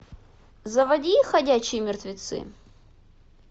заводи ходячие мертвецы